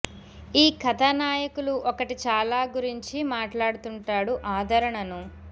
ఈ కథ నాయకులు ఒకటి చాలా గురించి మాట్లాడుతుంటాడు ఆదరణను